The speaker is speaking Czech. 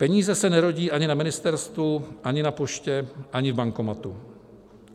Peníze se nerodí ani na ministerstvu, ani na poště, ani v bankomatu.